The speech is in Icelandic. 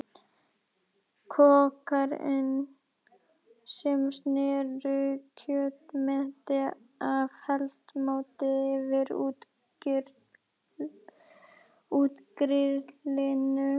Kokkarnir sem sneru kjötmeti af eldmóði yfir útigrillinu.